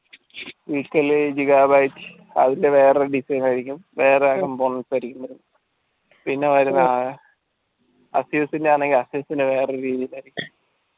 equally giga bytes അതിന്ടെ വേറെ design ആയിരിക്കും വേറെ പിന്നാ വര്ന്ന affuse ടെ ആണെങ്കിൽ affuse ടെ വേറെ രീതിയിൽ